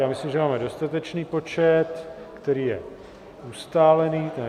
Já myslím, že máme dostatečný počet, který je ustálený...